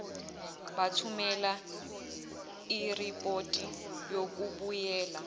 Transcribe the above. bathumele iripoti yokubuyela